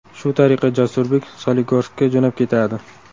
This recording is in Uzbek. Shu tariqa Jasurbek Soligorskka jo‘nab ketadi.